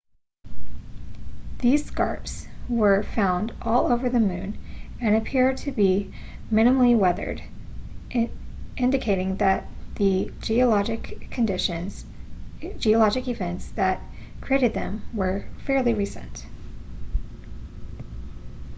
these scarps were found all over the moon and appear to be minimally weathered indicating that the geologic events that created them were fairly recent